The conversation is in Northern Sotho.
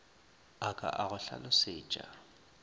a ka a go hlalosetša